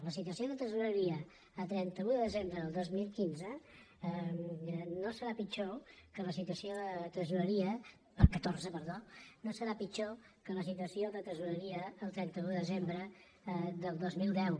la situació de tre·soreria a trenta un de desembre del dos mil quinze no serà pitjor que la situació de tresoreria del catorze perdó no serà pitjor que la situació de tresoreria el trenta un de desembre del dos mil deu